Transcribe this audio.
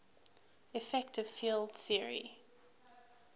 effective field theory